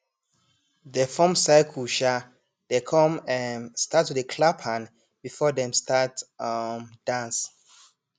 dey form circle um dey com um start to dey clap hand before dem start um dance